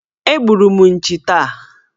Egburu m nchi taa.